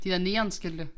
De der neonskilte